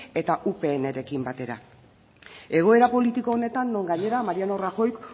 eta upnrekin batera egoera politiko honetan non gainera mariano rajoyk